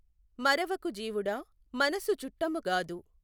మఱవకు జీవుడా మనసు చుట్టము గాదు